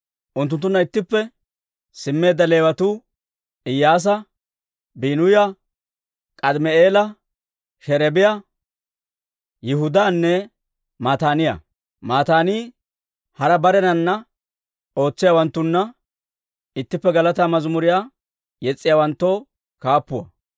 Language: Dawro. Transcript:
Unttunttunna ittippe simmeedda Leewatuu Iyyaasa, Biinuya, K'aadimi'eela, Sherebiyaa, Yihudaanne Mataaniyaa. Mataanii hara barenana ootsiyaawanttuna ittippe galataa mazimuriyaa yes's'iyaawanttoo kaappuwaa.